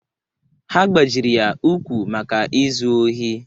Ha gbajiri ya ụkwụ maka izu ohi.